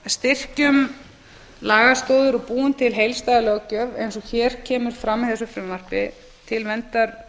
styrkjum lagastoðir og búum til heildstæða löggjöf eins og hér kemur fram í þessu frumvarpi til verndar